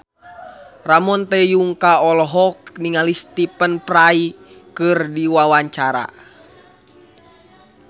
Ramon T. Yungka olohok ningali Stephen Fry keur diwawancara